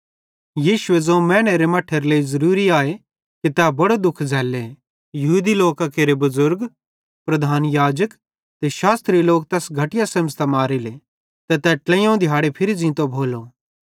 यीशुए ज़ोवं मैनेरे मट्ठेरे लेइ ज़रूरी आए कि तै बड़ो दुःख झ़ैल्ले यहूदी लोकां केरे बुज़ुर्गन प्रधान याजकन ते शास्त्री तैस घटिया सेमझ़तां मारेले ते तै ट्लेइयोवं दिहाड़े फिरी ज़ींतो भोलो